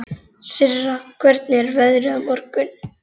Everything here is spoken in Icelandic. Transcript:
Sirra, hvernig er veðrið á morgun?